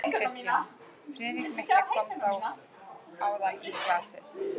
KRISTJÁN: Friðrik mikli kom þó áðan í glasið.